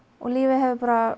og lífið hefur